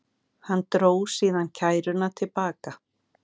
Hann dró síðan kæruna til baka